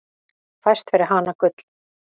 Fæst fyrir hana gull.